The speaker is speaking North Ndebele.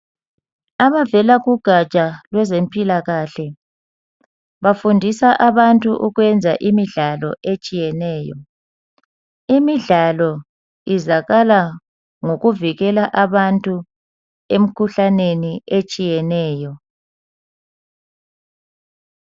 Abavela kugaja lweze mpilakahle bafundisa abantu ukwenza imidlalo etshiye tshiyeneyo imidlalo iyenzakala ukuvikela abantu emikhuhlaneni etshiyeneyo